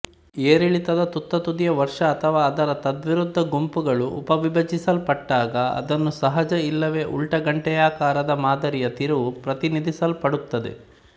ಏರಿಳಿತದ ತುತ್ತತುದಿಯ ವರ್ಷ ಅಥವಾ ಅದರ ತದ್ವಿರುದ್ಧ ಗುಂಪುಗಳು ಉಪವಿಭಜಿಸಲ್ಪಟ್ಟಾಗಅದನ್ನು ಸಹಜ ಇಲ್ಲವೇ ಉಲ್ಟಾ ಗಂಟೆಯಾಕಾರದ ಮಾದರಿಯ ತಿರುವು ಪ್ರತಿನಿಧಿಸಲ್ಪಡುತ್ತದೆ